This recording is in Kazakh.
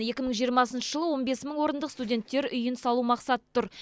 екі мың жиырмасыншы жылы он бес мың орындық студенттер үйін салу мақсаты тұр